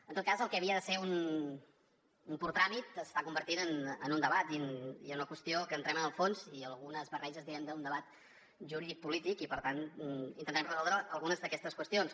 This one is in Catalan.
en tot cas el que havia de ser un pur tràmit s’està convertint en un debat i en una qüestió que entrem en el fons i algunes barreges diguem ne d’un debat juridicopolític i per tant intentarem resoldre algunes d’aquestes qüestions